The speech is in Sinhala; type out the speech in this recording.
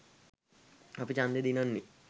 අපි චන්දෙ දිනන්නෙ